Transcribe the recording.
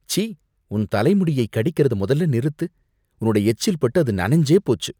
சீ ! உன் தலை முடியை கடிக்கறத மொதல்ல நிறுத்து. உன்னோட எச்சில் பட்டு அது நனைஞ்சே போச்சு.